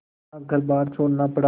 अपना घरबार छोड़ना पड़ा